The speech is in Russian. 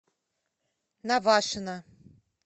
навашино